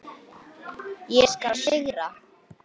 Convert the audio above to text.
Ég skal sigra!